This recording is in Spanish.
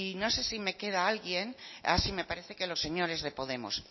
no sé si me queda alguien ah sí me parece que los señores de podemos